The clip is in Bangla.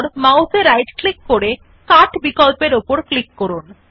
মাউস এ রাইট ক্লিক করে কাট বিকল্পর উপর ক্লিক করুন